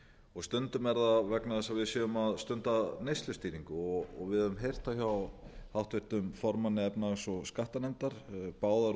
og stundum er það vegna þess að við séum að stunda neyslustýringu og við höfum heyrt það háttvirtum formanni efnahags og skattanefndar báðar